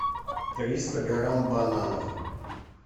триста грамм бананов